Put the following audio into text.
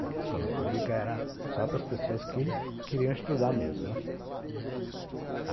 A escola pública era só para as pessoas que queriam estudar mesmo, né.